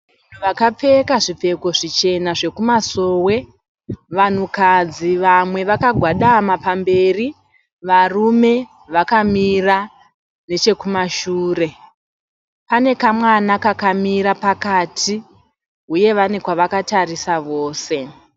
Vanhu vakapfeka zvipfeko zvichena zvekumasowe. Vanhukadzi vamwe vakagwadama pamberi, varume vakamira nechekumashure . Pane kamwana kakamira pakati huye vane kwavakatarisa vose.